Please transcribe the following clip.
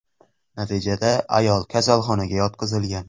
Natijada ayol kasalxonaga yotqizilgan.